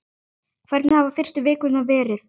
Hvernig hafa fyrstu vikurnar verið?